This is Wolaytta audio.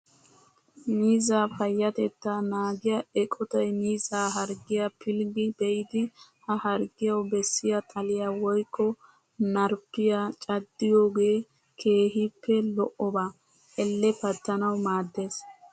Miizzaa payyatettaa naagiyaa eqotayi miizzaa harggiyaa pilggi be''idi ha harggiyawu bessiyaa xaliyaa woyikko marppiyan caddiyoogee keehippe lo''oba. elle pattanawu maaddes.